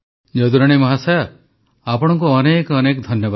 ଯଦୁରାଣୀ ମହାଶୟା ଆପଣଙ୍କୁ ଅନେକ ଅନେକ ଧନ୍ୟବାଦ